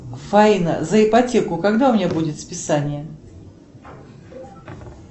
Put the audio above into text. фаина за ипотеку когда у меня будет списание